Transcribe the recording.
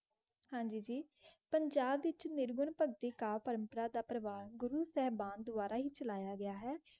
जी पंजाब गुरु सेहबान दुवारे चलाया गया ए.